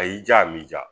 A y'i diya a m'i ja